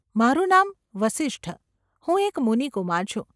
મારું નામ વસિષ્ઠ. હું એક મુનિકુમાર છું.